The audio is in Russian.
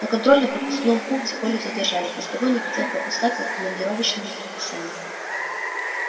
на контрольно пропускном пункте колю задержали постовой не хотел пропускать по командировочному предписанию